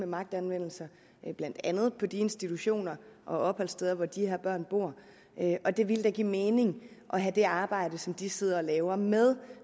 magtanvendelser blandt andet på de institutioner og opholdssteder hvor de her børn bor og det ville da give mening at have det arbejde som de sidder og laver med